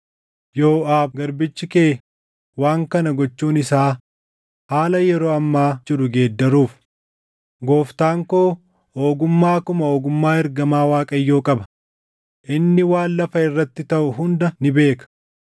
Yooʼaab garbichi kee waan kana gochuun isaa haala yeroo ammaa jiru geeddaruuf. Gooftaan koo ogummaa akkuma ogummaa ergamaa Waaqayyoo qaba; inni waan lafa irratti taʼu hunda ni beeka.”